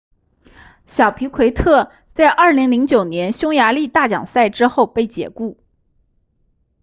小皮奎特在2009年匈牙利大奖赛之后被解雇